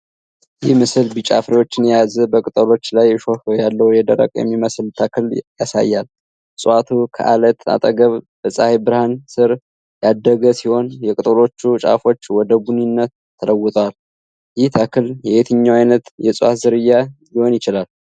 ይህ ምስል ቢጫ ፍሬዎችን የያዘ በቅጠሎቹ ላይ እሾህ ያለው የደረቀ የሚመስል ተክል ያሳያል። እፅዋቱ ከዐለት አጠገብ በፀሀይ ብርሃን ስር ያደገ ሲሆን፣ የቅጠሎቹ ጫፎች ወደ ቡኒነት ተለውጠዋል፤ ይህ ተክል የትኛው ዓይነት የዕፅዋት ዝርያ ሊሆን ይችላል?